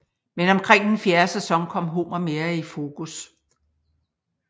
Men omkring den fjerde sæson kom Homer mere i fokus